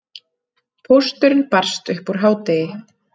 Pósturinn barst upp úr hádegi.